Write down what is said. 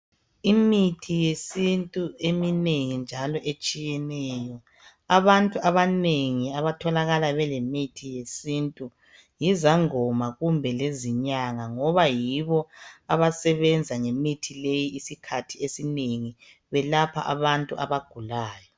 Imithi yesintu eminengi njalo etshiyeneyo abantu abanengi abatholakala belemithi yesintu yizangoma kumbe lezinyanga ngoba yibo abasebenza ngemithi leyi isikhathi esinengi belapha abantu abagulayo.